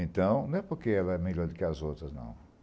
Então, não é porque ela é melhor do que as outras, não.